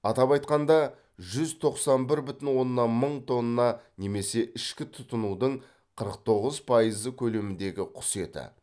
атап айтқанда жүз тоқсан бір бүтін оннан мың тонна немесе ішкі тұтынудың қырық тоғыз пайызы көлеміндегі құс еті